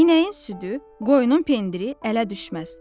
İnəyin südü, qoyunun pendiri ələ düşməz.